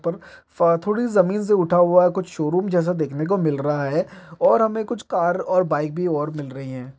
पर फा थोड़ी जमीन से उठा हुआ है। कुछ शोरूम जैसा देखने को मिल रहा है और हमें कुछ कार और बाइक भी और मिल रहीं हैं।